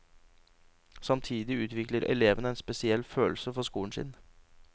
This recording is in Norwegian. Samtidig utvikler elevene en spesiell følelse for skolen sin.